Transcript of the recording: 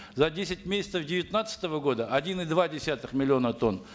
за десять месяцев девятнадцатого года один и два десятых миллиона тонн